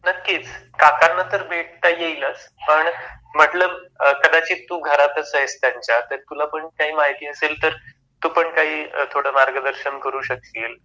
नक्कीच काकांना तर भेटता येईलच, पण म्हंटल कदाचित तू घरातस आहेस त्यांच्या तर तुला पण काही माहिती असेल तर तू पण काही थोड मार्गदर्शन करू शकशील.